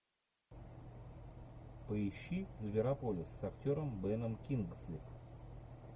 поищи зверополис с актером беном кингсли